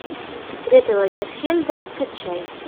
секреты лагерфельда скачай